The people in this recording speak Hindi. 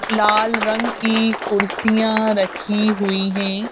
लाल रंग की कुर्सियां रखी हुई हैं।